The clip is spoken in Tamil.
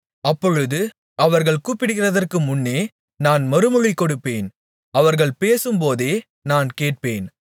அப்பொழுது அவர்கள் கூப்பிடுகிறதற்குமுன்னே நான் மறுமொழி கொடுப்பேன் அவர்கள் பேசும்போதே நான் கேட்பேன்